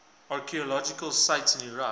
archaeological sites in iraq